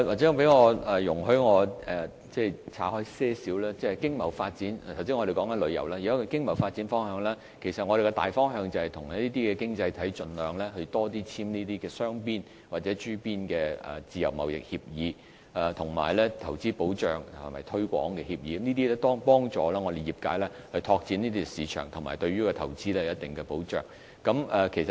請容許我把話題岔開一點，就經貿發展及旅遊發展，我們的大方向就是跟這些經濟體盡量多簽訂雙邊或諸邊自由貿易協定，以及促進和保護投資協定，這些均可幫助業界拓展市場，並對投資有一定保障。